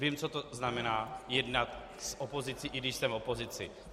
Vím, co to znamená jednat s opozicí, i když jsem v opozici.